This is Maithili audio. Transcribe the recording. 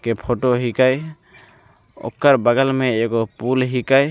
के फोटो हीके ओकर बगल में एगो पुल हिके ।